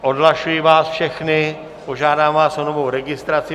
Odhlašuji vás všechny, požádám vás o novou registraci.